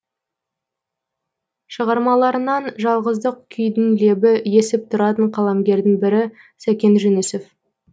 шығармаларынан жалғыздық күйдің лебі есіп тұратын қаламгердің бірі сәкен жүнісов